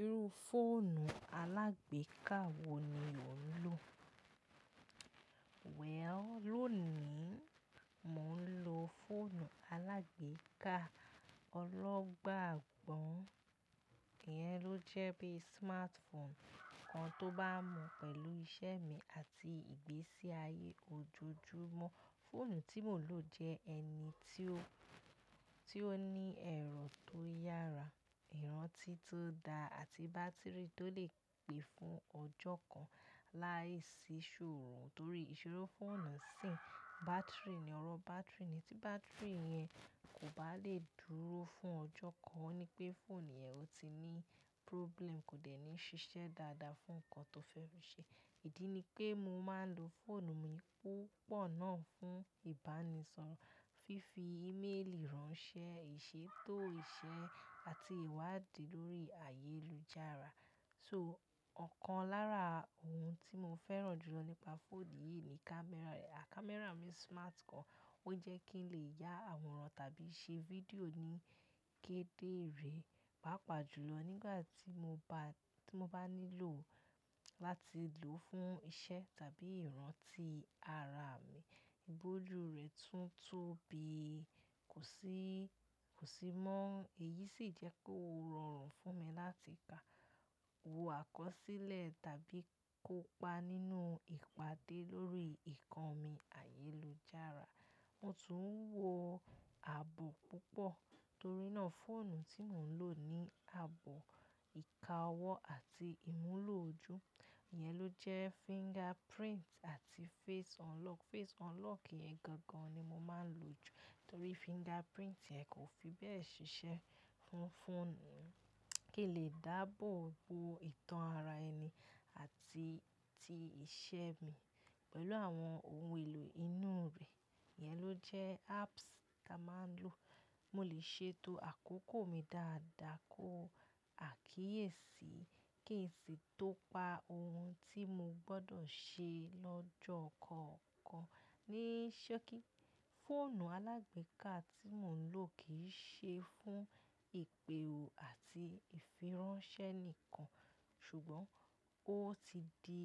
Irú fóònù alágbèéká wo ni ò ń lò? Well, lónìí, mò ń lo fóònù alágbèéká ọlọ́gbàgbọ, ìyẹ́n ló jẹ́ bí smartphone kan tó bá mu pẹ̀lú iṣẹ́ mi àti ìgbésí ayé ojojúmọ́. Fóònù tí mò ń lò jẹ́ ẹni tí ó, tí ó ní ẹ̀rọ tó yára, ìrántí tó dá àti bátìrì tó lè pe fún ọjọ́ kan láìsí ṣòro torí ìṣorò fóònù sìn bátìrì ni ọ̀rọ̀ bátìrì ni tí bátìrì yẹn kò bá lè dúró fún ọjọ́ kan, ó ní pé fóònù yẹn ó ti ní problem, kò dẹ̀ ní ṣiṣẹ́ dáadáa fún nǹkan tó fẹ́ fi ṣe. Ìdí ni pé mo máa ń lo fóònù mi púpọ̀ náà fún ìbánisọ̀rọ̀, fífi íméèlì ránṣẹ́, ìṣètò iṣẹ́ àti ìwádìí lórí ayélujára. So ọ̀kan lára ohun tí mo fẹ́ràn jù lọ nípa fóònù yìí ni kámẹ́rà rẹ̀. A kámẹ́rà mi smart gan, ó jẹ́ kí n lè ya àwòrán tàbí ṣe fídíò ní kéde re, pàápàá jùlọ nígbà tí mo bá, tí mo bá nílò láti lò ó fún iṣẹ́ tàbí ìrántí ara mi. Bolú rẹ̀ tún tóbi, kò sí, kò sí mọ́. Èyí sì jẹ́ kó rọrùn fún mi láti ka-- wo àkọsílẹ̀ tàbí kópa nínú ìpàdé lórí ìkanmi ayélujára. Mo tún ń wo ààbò púpọ̀ torí náà fóònù tí mò ń lò ní ààbò ìkáwọ́ àti ìmúlò ojú. Ìyẹn ló jẹ́ fingerprint àti face unlock. Face unlock yẹn gangan ni mo máa ń lò jù torí fingerprint yẹn kò fi bẹ́ẹ̀ ṣiṣẹ́ fún, fóònù mi. Kí lè dáàbò bo ìtàn ara ẹni àti, àti iṣẹ́ mi pẹ̀lú àwọn ohun èlò inú rẹ̀. Ìyẹn ló jẹ́ apps táa máa ń lò. Mo lè ṣètò àkókò mi dáadáa, kó àkíyèsí kí n sì tó pa ohun tí mo gbọdọ̀ ṣe lọ́jọ́ kọ̀ọ̀kan. Ni ṣókí, fóònù alágbèéká tí mò ń lò kì í ṣe fún ìpè ó àti ìfiránṣẹ́ nìkan ṣùgbọ́n ó ti di